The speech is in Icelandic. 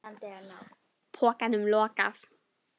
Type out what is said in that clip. Pokanum lokað.